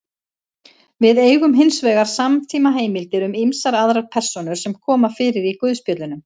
Við eigum hins vegar samtímaheimildir um ýmsar aðrar persónur sem koma fyrir í guðspjöllunum.